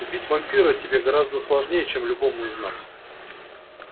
убить вампира тебе гораздо сложнее чем любому из нас